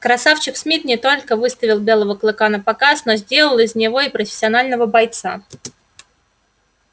красавчик смит не только выставил белого клыка напоказ но сделал из него и профессионального бойца